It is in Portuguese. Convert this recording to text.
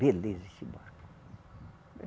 Beleza esse barco.